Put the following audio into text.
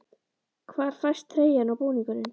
Hvar fæst treyjan og búningurinn?